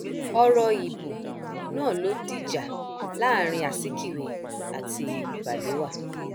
ọrọ ìbò náà ló dìjà láàrin azikiwe àti balewa